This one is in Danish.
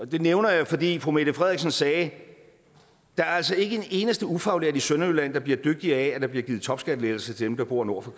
det nævner jeg fordi fru mette frederiksen sagde at der altså ikke er en eneste ufaglært i sønderjylland der bliver dygtigere af at der bliver givet topskattelettelser til dem der bor nord for